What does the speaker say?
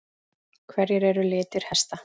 Hverjir eru litir hesta?